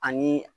Ani